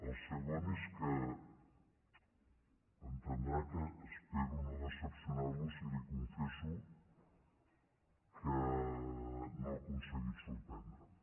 el primer és que entendrà que espero no decebre’l si li confesso que no ha aconseguit sorprendre’m